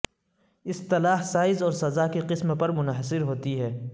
اصطلاح سائز اور سزا کی قسم پر منحصر ہوتی ہے